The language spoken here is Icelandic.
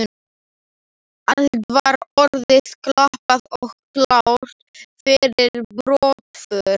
Allt var orðið klappað og klárt fyrir brottför.